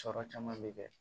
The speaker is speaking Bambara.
Sɔrɔ caman bɛ kɛ